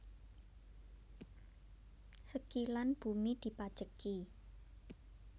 Sekilan bumi dipajeki